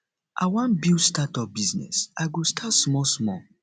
i wan build start up business i go start small small